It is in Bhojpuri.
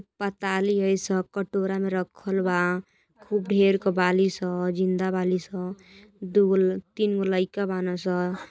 पताली ह ई सब कटोरा में रखल बा। खूब ढेर क बाली स जिंदा बाली स दुगो तीन गो लइका बना स।